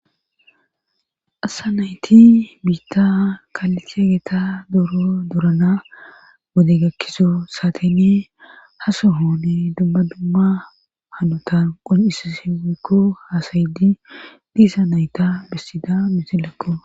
assa nayti biitta kaalicegeta doro durana wodegakkiso saatene ha soho ne dumma dumma hanota qon7isasi woykko haasayidi diisa nayta bessida misilekko